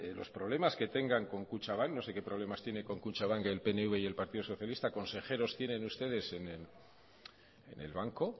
los problemas que tengan con kutxabank no sé que problemas tienen con kutxabank el pnv y el partido socialista consejeros tienen ustedes en el banco